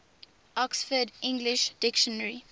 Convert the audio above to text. oxford english dictionary